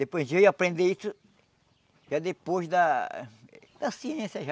Depois de eu ir aprender isso, já depois da da ciência já,